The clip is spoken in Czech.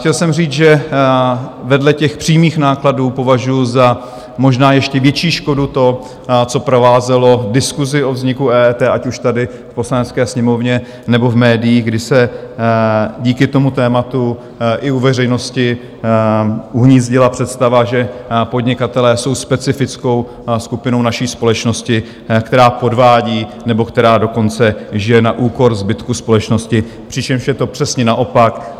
Chtěl jsem říct, že vedle těch přímých nákladů považuji za možná ještě větší škodu to, co provázelo diskusi o vzniku EET ať už tady v Poslanecké sněmovně, nebo v médiích, kdy se díky tomu tématu i u veřejnosti uhnízdila představa, že podnikatelé jsou specifickou skupinou naší společnosti, která podvádí, nebo která dokonce žije na úkor zbytku společnosti, přičemž je to přesně naopak.